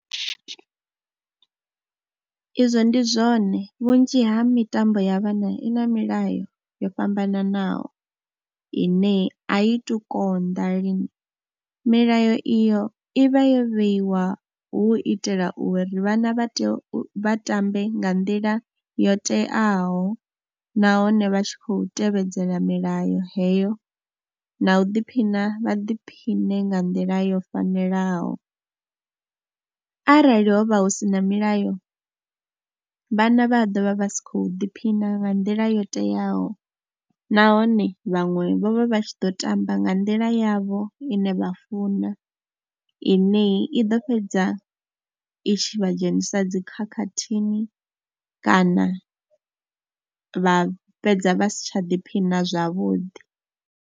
Izwo ndi zwone vhunzhi ha mitambo ya vhana i na milayo yo fhambananaho ine a i tu konḓa lini, milayo iyo i vha yo vheiwa hu u itela uri vhana vha tea u, vha tambe nga nḓila yo teaho nahone vha tshi khou tevhedzela milayo heyo na u ḓiphina vha ḓiphiṋe nga nḓila yo fanelaho. Arali ho vha hu si na milayo, vhana vha ḓo vha vha si khou ḓiphina nga nḓila yo teaho nahone vhaṅwe vho vha vha tshi ḓo tamba nga nḓila yavho ine vha funa ine i ḓo fhedza i tshi vha dzhenisa dzi khakhathini kana vha fhedza vha si tsha diphina zwavhuḓi.